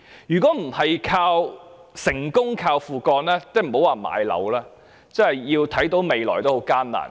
如果不是成功"靠父幹"，那莫說買樓，就是想看到未來也很艱難。